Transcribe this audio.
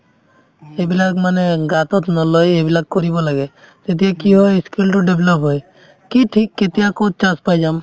এইবিলাক মানে গাতোত নলয় সেইবিলাক কৰিব লাগে তেতিয়া কি হয় skill তো develop হয় কি ঠিক কেতিয়া ক'ত chance পাই যাম